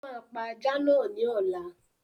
O máa pa ajá náà ní ọ̀la